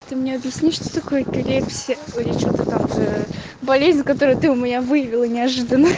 ты мне объясни что такое эпилепсия а я что-то там болезнь которую ты у меня выявила неожиданно